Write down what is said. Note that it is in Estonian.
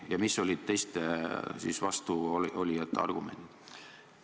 Ja millised olid teiste vastuolijate argumendid?